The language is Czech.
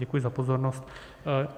Děkuji za pozornost.